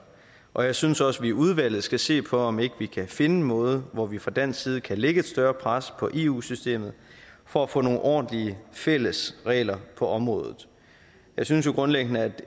og jeg synes også at vi i udvalget skal se på om vi ikke kan finde en måde hvor vi fra dansk side kan lægge et større pres på eu systemet for at få nogle ordentlige fælles regler på området jeg synes grundlæggende at